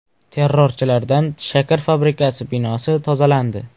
Terrorchilardan shakar fabrikasi binosi tozalandi.